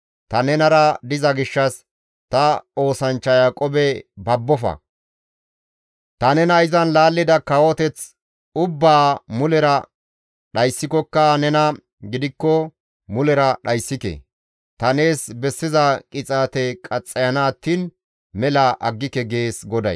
Ta nenara diza gishshas ta oosanchcha Yaaqoobe babbofa. Ta nena izan laallida kawoteth ubbaa mulera dhayssikokka nena gidikko mulera dhayssike. Ta nees bessiza qixaate qaxxayana attiin mela aggike» gees GODAY.